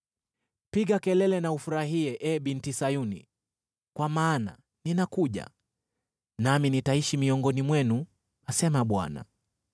“Piga kelele na ufurahie, ee Binti Sayuni, kwa maana ninakuja, nami nitaishi miongoni mwenu,” asema Bwana .